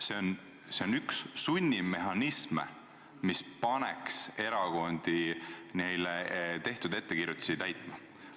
See on aga üks sunnimehhanisme, mis paneb erakondi neile tehtud ettekirjutusi täitma.